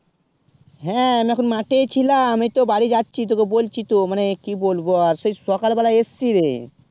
হেঁ আমি এখন মাঠে ই ছিলাম এই তো বাড়িও যাচ্ছি তোকে বলছি তো মানে কি বলবো আর সেই সকাল বেলা এসছি রে